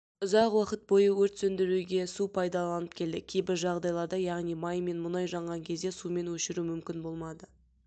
ұзақ уақыт бойы өрт сөндіруге су пайдаланылып келді кейбір жағдайларда яғни май мен мұнай жанған кезде сумен өшіру мүмкін болмады